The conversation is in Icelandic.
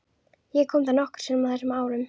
Ég kom þar nokkrum sinnum á þessum árum.